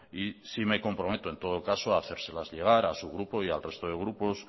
y sí me comprometo en todo caso hacérselas llegar a su grupo y al resto de grupos